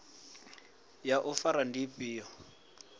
ya u fara ndi ifhio